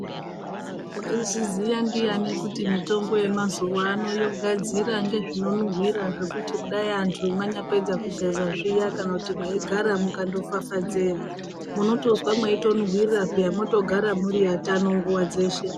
Waizviziya ndiyani kuti mitombo yemauzuwano yogadzira ngezvinonhuwira zvekuti kudai antu mwanyapedza kugeza zviya kana kuti mweigara mukandofafadze munotozwa meitonhuwirira peya mwotogara muri atano nguwa dzeshe.